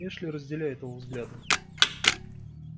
эшли разделяет его взгляды